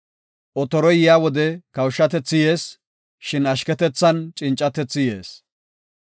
Otoroy yaa wode kawushatethi yees; shin ashketethan cincatethi yees.